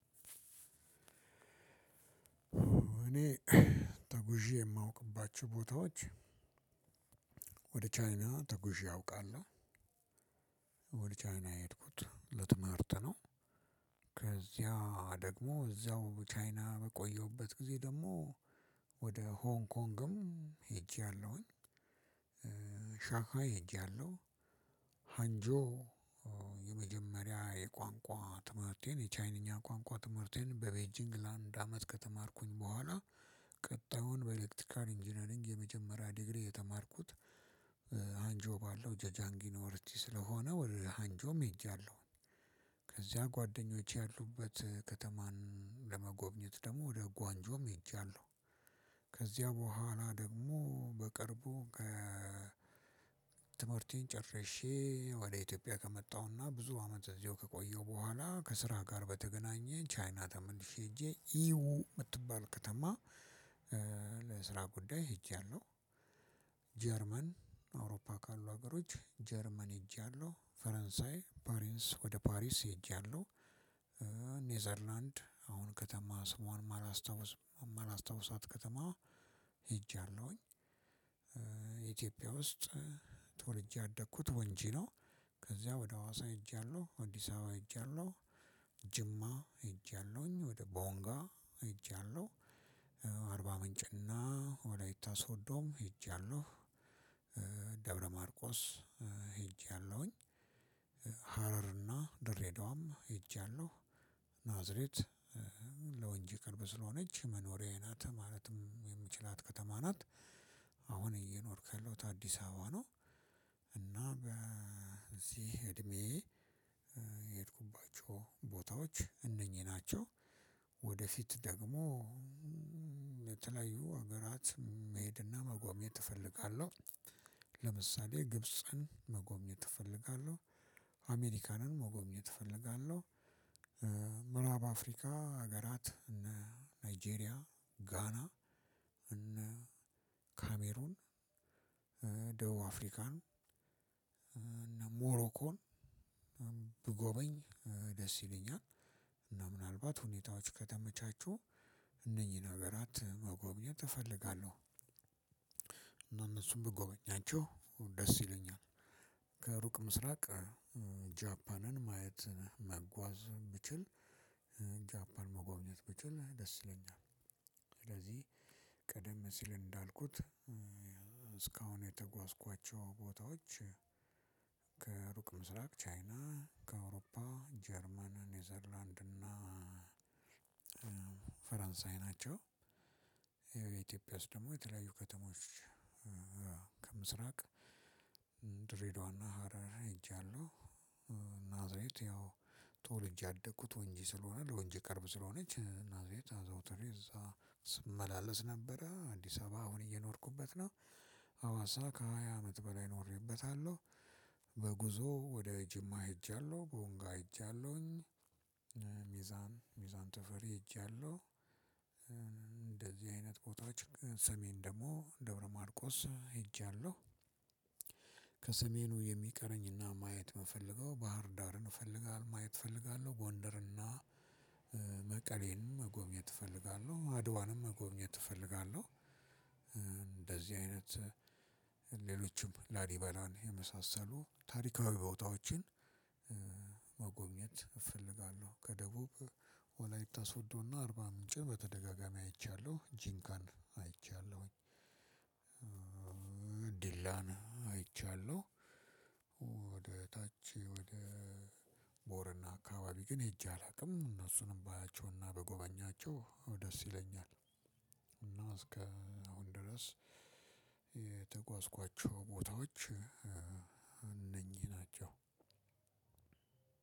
እኔ ተጉዤ የማውቅባቸው ቦታዎች ቻይና ተጉዤ አውቃለሁ። ወደ ቻይና የሄድኩት ለትምህርት ነው። ከዚያ ደግሞ እዛው ቻይና በቆየሁበት ግዜ ደግሞ ወደ ሆንግ ኮንግም ሄጂያለሁ፣ ሻኻ ሄጂያለሁ፣ ሀንጆ የመጀመሪያ የቋንቋ ትምህርቴን የቻይንኛ ቋንቋ ትምህርቴን በቤጂንግ ለአንድ አመት ከተማርኩኝ በኋላ ቀጣዩን በኤሌክትሪካል ኢንጂነሪንግ የመጀመሪያ ዲግሪ የተማርኩት አንጆ ባለው ጀጃንጊ ኖርቺ ስለሆነ ወደ ሃንጆም ሄጃለሁ። ከዚያ ጓደኞቼ ያሉበት ከተማን ለመጎብኘት ደግሞ ወደ ጓንጆም ሄጃለሁ። ከዚያ በኋላ ደግሞ በቅርቡ ትምህርቴን ጨርሼ ወደ ኢትዮጵያ ከመጣሁና ብዙ አመት እዚሁ ከቆየሁ በኋላ ከስራ ጋር በተገናኘ ቻይና ተመልሼ ሄጄ ኢሁ የምትባል ከተማ ለስራ ጉዳይ ሄጂያለሁ። ጀርመን አውሮፓ ካሉ ሀገሮች ጀርመን ሄጃለሁ። ፈረንሳይ ፓሪንስ ወደ ፓሪስ ሄጃለሁ። ኔዘርላንድ አሁን ከተማ ስሟን ማላስታውስ ማላስታውሳት ከተማ ሄጃለሁኝ። ኢትዮጵያ ውስጥ ተወልጄ ያደግኩት ወንጂ ነው። ከዚያ ወደ ሀዋሳ ሄጃለሁ። አዲስ አበባ ሄጃለሁ። ጅማ ሄጃለሁኝ። ወደ ቦንጋ ሄጃለሁ። አርባ ምንጭና ወላይታ ሶዶም ሄጃለሁ። ደብረ ማርቆስ ሄጃለሁኝ። ሃረርና ድሬድዋም ሄጃለሁኝ። ናዝሬት ለወንጂ ቅርብ ስለሆነች መኖሪያዬ ናት ማለትም የምችላት ከተማ ናት። አሁን እየኖርኩ ያለሁት አዲስ አበባ ነው። እና በዚህ እድሜዬ የሄድኩባቸው ቦታዎች እነኚህ ናቸው። ወደፊት ደግሞ የተለያዩ ሀገራት መሄድና መጎብኘት እፈልጋለሁ። ለምሳሌ ግብጽን መጎብኘት እፈልጋለሁ። አሜሪካንን መጎብኘት እፈልጋለሁ። ምዕራብ አፍሪካ ሀገራት እነ ናይጄሪያ ጋና ካሜሮን፣ ደቡብ አፍሪካን፣ እነ ሞሮኮን ብጎበኝ ደስ ይለኛል፤ እና ምናልባት ሁኔታዎች ከተመቻቹ እነኚህን ሀገራት መጎብኘት እፈልጋለሁ። እና እነሱን ብጎበኛቸው ደስ ይለኛል። ከሩቅ ምስራቅ ጃፓንን ማየት መጓዝ ብችል ጃፓን መጎብኘት ብችል ደስ ይለኛል። ስለዚህ ቀደም ሲል እንዳልኩት እስካሁን የተጓዝኳቸው ቦታዎች ምስራቅ ቻይና፣ ከአውሮፓ ጀርመን፣ ኔዘርላንድ እና ፈረንሳይ ናቸው። ያው ኢትዮጵያ ውስጥ ደግሞ የተለያዩ ከተሞች ከምስራቅ ድሬዳዋና ሀረር ሄጃለሁ። ናዝሬት ያው ተወልጄ ያደኩት ወንጂ ስለሆነ ለወንጂ ቅርብ ስለሆነች ናዝሬት አዘውትሬ እዛ ስመላለስ ነበረ። አዲስ አበባ አሁን እየኖርኩበት ነው። ሃዋሳ ከሃያ አመት በላይ ኖሬበታለሁ። በጉዞ ወደ ጅማ ሄጃለሁ። ቦንጋ ሄጃለሁኝ። ሚዛን ሚዛን ተፈሪ ሄጃለሁ። እንደዚህ አይነት ቦታዎች ከሰሜን ደግሞ ደብረማርቆስ ሄጃለሁ። ከሰሜኑ የሚቀረኝና ማየት የምፈልገው ባህር ዳርን እፈልጋለሁ ማየት እፈልጋለሁ ጎንደርና መቀሌንም መጎብኘት እፈልጋለሁ። አድዋንም መጎብኘት እፈልጋለሁ። እንደዚህ አይነት ሌሎችም ላሊበላን የመሳሰሉ ታሪካዊ ቦታዎችን መጎብኘት እፈልጋለሁ። ከደቡብ ወላይት ሶዶና አርባ ምንጭን በተደጋጋሚ አይቻለሁ። ጂንካን አይቻለሁኝ። ዲላና አይቻለሁ። ወደ ታች ወደ ቦረና አካባቢ ግን ሄጄ አላውቅም። እነሱንም ባያቸውና ብጎበኛቸው ደስ ይለኛል፤ እና እስከ አሁን ድረስ የተጓዝኳቸው ቦታዎች እነኚህ ናቸው።